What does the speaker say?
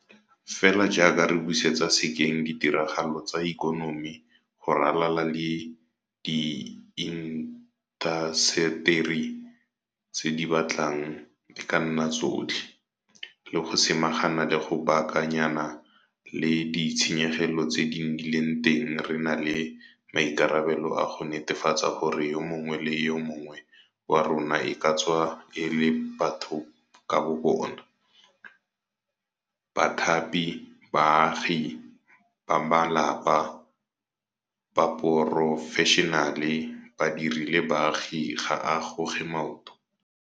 Fela jaaka re busetsa sekeng ditiragalo tsa ikonomi go ralala le diintaseteri tse di batlang e ka nna tsotlhe - le go samagana le go baaka nyana le ditshenyegelo tse di nnileng teng re na le maikarabelo a go netefatsa gore yo mongwe le yo mongwe wa rona e ka tswa e le batho ka bo bona, bathapi, baagi, bamalapa, baporofeshenale, badiri le baagi ga a goge maoto.